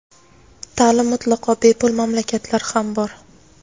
Ta’lim mutlaqo bepul mamlakatlar ham bor.